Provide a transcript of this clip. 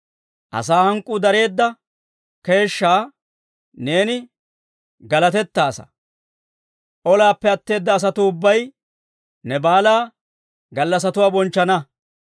Asaa hank'k'uu dareedda keeshshaa neeni galatettaasa. Olaappe atteedda asatuu ubbay, ne baalaa gallassatuwaa bonchchana.